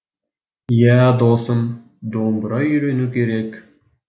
ия досым домбыра үйрену керек